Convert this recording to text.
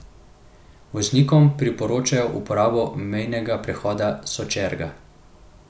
Voznikom priporočajo uporabo mejnega prehoda Sočerga.